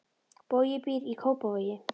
Bogi býr í Kópavogi.